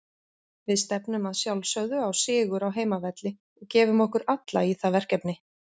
Við stefnum að sjálfsögðu á sigur á heimavelli og gefum okkur alla í það verkefni.